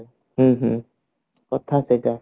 ହଁ ହଁ କଥା ସେଟା